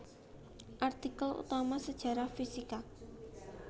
Artikel utama Sejarah fisika